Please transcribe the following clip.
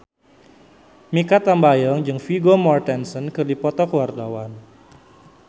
Mikha Tambayong jeung Vigo Mortensen keur dipoto ku wartawan